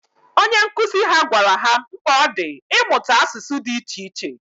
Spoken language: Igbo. Onye nkuzi ha gwara ha mkpa ọ dị ịmụta asụsụ dị iche iche.